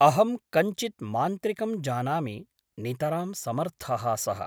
अहं कञ्चित् मान्त्रिकं जानामि नितरां समर्थः सः ।